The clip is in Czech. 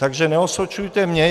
Takže neosočujte mě.